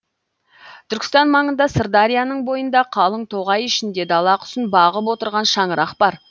түркістан маңында сырдарияның бойында қалың тоғай ішінде дала құсын бағып отырған шаңырақ бар